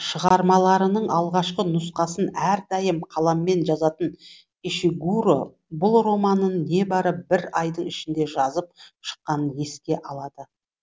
шығармаларының алғашқы нұсқасын әрдайым қаламмен жазатын ишигуро бұл романын небары бір айдың ішінде жазып шыққанын еске алады